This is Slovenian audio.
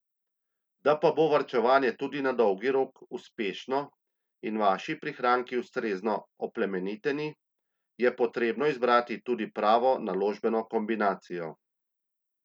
Da pa bo varčevanje tudi na dolgi rok uspešno in vaši prihranki ustrezno oplemeniteni, je potrebo izbrati tudi pravo naložbeno kombinacijo.